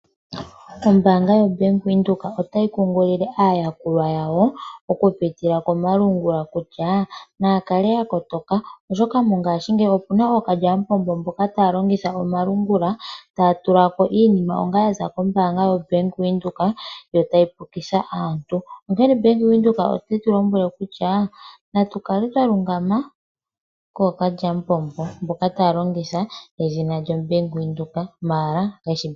Ombanga yo Bank Widheok otayi kukilile aayakulwa yawo oku pitila komalungula kutya nakale yakotoka oshoka mongashi ngeyi opuna okalyapombo mboka talongitha omalungula tatulako iinima onga yaza kombanga yo Bank Widheok yo tayi pukitha aantu , onkene Bank Widheok otetulombwe kutya natukale twalungama kokalyapombo mboka talongitha edhina lyo Bank Widheok maala Keshi bank Widheok.